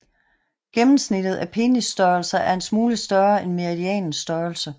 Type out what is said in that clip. Gennemsnittet af penisstørrelser er en smule større end medianens størrelse